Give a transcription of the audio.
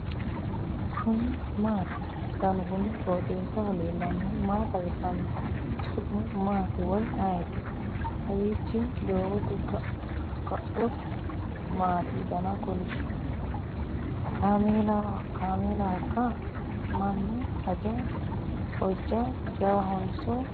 kuni maati ? danu kuni qooxeessaho leellannohu maa xawisanno su'mu maati woy ayeti ? kawiichi doogote kuuu'u maati dana kolishshu ? kaamelahoikka ? minu hojja jawahonso ku'u ?